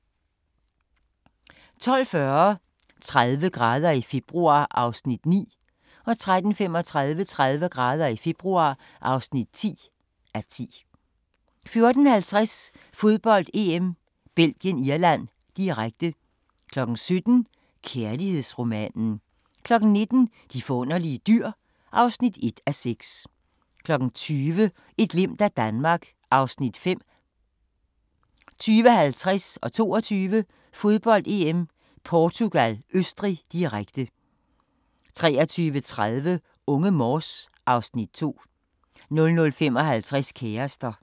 12:40: 30 grader i februar (9:10) 13:35: 30 grader i februar (10:10) 14:50: Fodbold: EM - Belgien-Irland, direkte 17:00: Kærlighedsromanen 19:00: De forunderlige dyr (1:6) 20:00: Et glimt af Danmark (Afs. 5) 20:50: Fodbold: EM - Portugal-Østrig, direkte 22:00: Fodbold: EM - Portugal-Østrig, direkte 23:30: Unge Morse (Afs. 2) 00:55: Kærester